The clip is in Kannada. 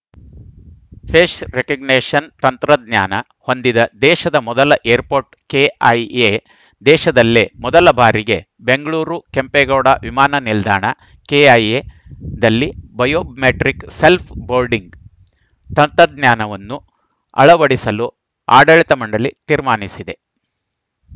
ಫೇಸ್‌ ರೆಕಗ್ನಿಷನ್‌ ತಂತ್ರಜ್ಞಾನ ಹೊಂದಿದ ದೇಶದ ಮೊದಲ ಏರ್‌ಪೋರ್ಟ್‌ ಕೆಐಎ ದೇಶದಲ್ಲೇ ಮೊದಲ ಬಾರಿಗೆ ಬೆಂಗಳೂರು ಕೆಂಪೇಗೌಡ ವಿಮಾನ ನಿಲ್ದಾಣಕೆಐಎದಲ್ಲಿ ಬಯೋಮೆಟ್ರಿಕ್‌ ಸೆಲ್‌್ಫ ಬೋರ್ಡಿಂಗ್‌ ತಂತ್ರಜ್ಞಾನವನ್ನು ಅಳವಡಿಸಲು ಆಡಳಿತ ಮಂಡಳಿ ತೀರ್ಮಾನಿಸಿದೆ